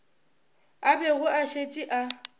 a bego a šetše a